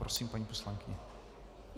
Prosím, paní poslankyně.